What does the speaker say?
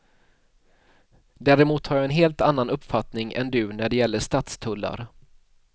Däremot har jag en helt annan uppfattning än du när det gäller stadstullar.